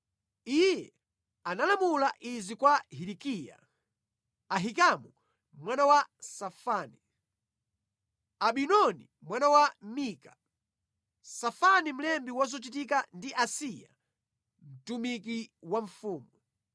Iye analamula izi kwa Hilikiya, Ahikamu mwana wa Safani, Abidoni mwana wa Mika, Safani mlembi wa zochitika ndi Asaya mtumiki wa mfumu: